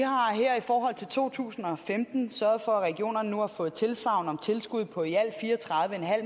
to tusind og femten sørget for at regionerne nu har fået tilsagn om tilskud på i alt fire og tredive